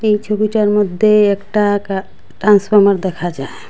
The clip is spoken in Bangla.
এই ছবিটার মধ্যে একটা গা ট্রান্সফরমার দেখা যায়।